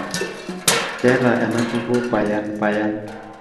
keeta ena kuku payapayan